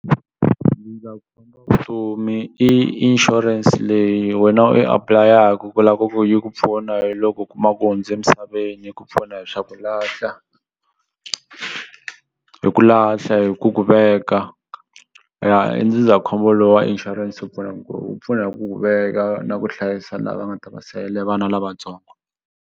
wa vutomi i inshurense leyi wena u yi apulayaku ku la ku yi ku pfuna hi loko u kuma ku hundze misaveni yi ku pfuna hi swa ku lahla hi ku lahla hi ku ku veka ya ndzindzakhombo lo wa insurance wu pfuna ku wu pfuna hi ku ku veka na ku hlayisa lava nga ta va sele vana lavatsongo.